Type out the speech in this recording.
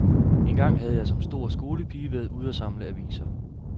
Engang havde jeg som stor skolepige været ude og samle aviser.